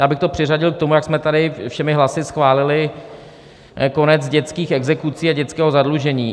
Já bych to přiřadil k tomu, jak jsme tady všemi hlasy schválili konec dětských exekucí a dětského zadlužení.